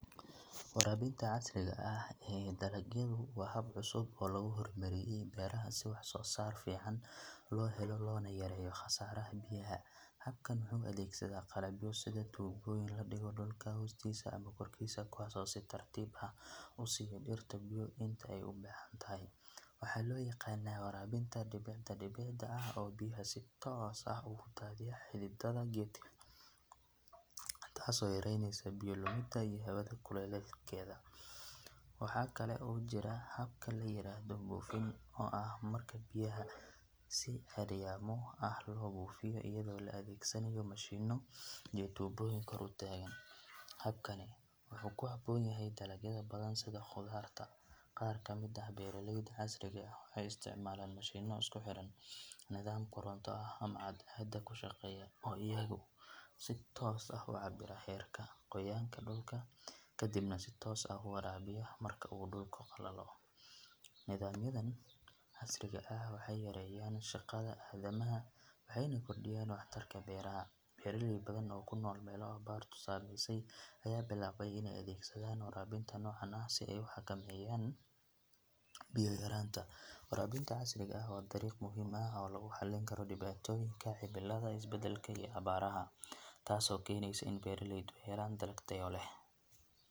Waraabinta casriga ah ee dalagyadu waa hab cusub oo lagu hormariyay beeraha si wax soo saar fiican loo helo loona yareeyo khasaaraha biyaha. Habkan wuxuu adeegsadaa qalabyo sida tuubooyin la dhigo dhulka hoostiisa ama korkiisa, kuwaas oo si tartiib ah u siiya dhirta biyo inta ay u baahan tahay. Waxaa loo yaqaanaa waraabinta dhibicda dhibicda ah oo biyaha si toos ah ugu daadiya xididdada geedka, taasoo yareynaysa biyo lumidda iyo hawada kulaylkeeda. Waxaa kale oo jira habka la yiraahdo buufin, oo ah marka biyaha si ceeryaamo ah loo buufiyo iyadoo la adeegsanayo mashiinno iyo tuubooyin kor u taagan, habkani wuxuu ku habboon yahay dalagyada badan sida khudaarta. Qaar ka mid ah beeraleyda casriga ah waxay isticmaalaan mashiinno isku xiran nidaam koronto ah ama cadceeda ku shaqeeya oo iyagu si toos ah u cabbira heerka qoyaanka dhulka kadibna si toos ah u waraabiya marka uu dhulka qallalo. Nidaamyadan casriga ah waxay yareeyaan shaqada aadamaha waxayna kordhiyaan waxtarka beeraha. Beeraley badan oo ku nool meelo abaartu saameyso ayaa bilaabay inay adeegsadaan waraabinta noocan ah si ay u xakameeyaan biyo yaraanta. Waraabinta casriga ah waa dariiq muhiim ah oo lagu xallin karo dhibaatooyinka cimilada is beddelka iyo abaaraha, taasoo keenaysa in beeraleydu ay helaan dalag tayo leh .